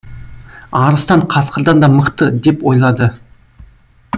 арыстан қасқырдан да мықты деп ойлады